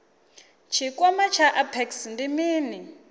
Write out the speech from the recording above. tshikwama tsha apex ndi mini